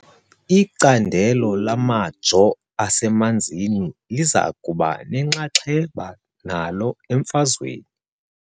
Icandelo lamajoo asemanzini liza kuba nenxaxheba nalo emfazweni .